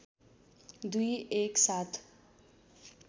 दुई एक साथ